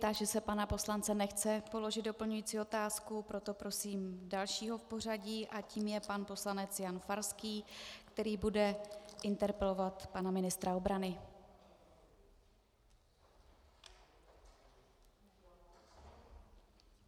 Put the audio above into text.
Táži se pana poslance - nechce položit doplňující otázku, proto prosím dalšího v pořadí a tím je pan poslanec Jan Farský, který bude interpelovat pana ministra obrany.